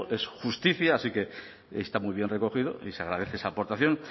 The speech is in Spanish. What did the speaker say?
es justicia así que está muy bien recogido y se agradece esa aportación